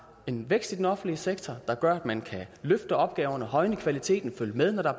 en vækst i den offentlige sektor der gør at man kan løfte opgaverne højne kvaliteten følge med når der